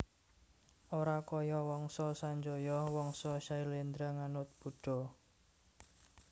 Ora kaya Wangsa Sanjaya Wangsa Syailendra nganut Buddha